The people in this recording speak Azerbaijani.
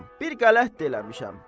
Bir qələt də eləmişəm.